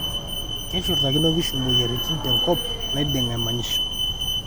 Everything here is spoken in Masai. keshurtakino inkishu imoyiaritin tenkop naidenga emanyisho